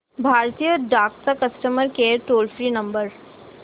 भारतीय डाक चा customer care toll free number